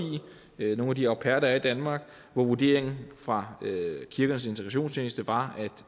nogle af de au pair der er i danmark og vurderingen fra kirkernes integrations tjeneste var at